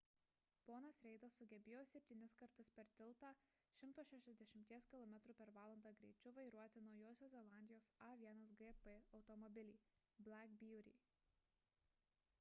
ponas reidas sugebėjo septynis kartus per tiltą 160 km / h greičiu vairuoti naujosios zelandijos a1gp automobilį black beauty